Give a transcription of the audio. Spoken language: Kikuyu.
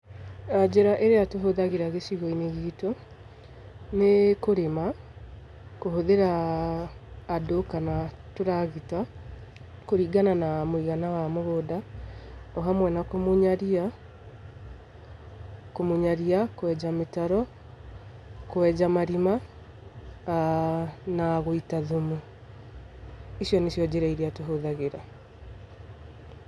Njĩra ĩrĩa tũhũthagĩra gĩcigo-inĩ gitũ, nĩ kũrĩma kũhũthĩra andũ kana tũragita, kũringana na mũigana wa mũgũnda, o hamwe na kũmunya ria, kũmunya ria, kwenja mĩtaro, kwenja marima, , na gũita thumu. Icio nĩ cio njĩra tũhũthagĩra.